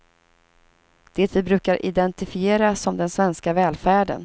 Det vi brukar identifiera som den svenska välfärden.